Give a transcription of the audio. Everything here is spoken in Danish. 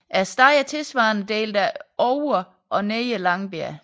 Stedet er tilsvarende delt af Ovre og Nedre Langbjerg